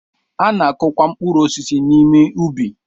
A na-akụ kwa mkpụrụ osisi n'ime ubi.